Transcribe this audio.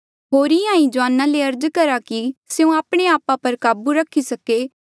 होर इंहां ही जुआना ले अर्ज करा कि स्यों आपणे आपा पर काबू रखी सके